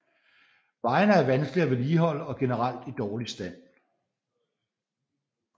Vejene er vanskelige at vedligeholde og generelt i dårlig stand